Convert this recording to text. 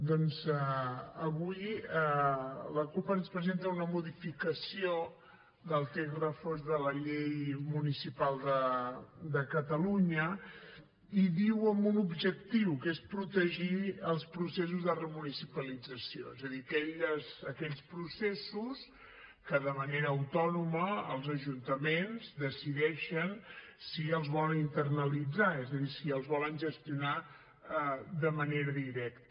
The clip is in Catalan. doncs avui la cup ens presenta una modificació del text refós de la llei municipal de catalunya i diu amb un objectiu que és protegir els processos de remunicipalització és a dir aquells processos que de manera autònoma els ajuntaments decideixen si els vol internalitzar és a dir si els volen gestionar de manera directa